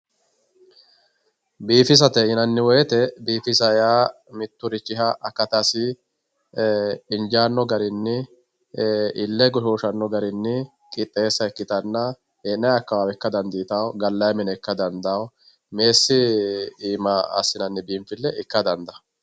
Biifisate yinanni woyte biifisa yaa mitturichiha akatasi injaanno garinni ille goshooshanno garinni qixxeessa ikkitanna hee'nayi akkawaawe ikka dandiitanno gallayi mine ikkara dandaanno meessi iima assinanni biinfille ikkara dandaanno.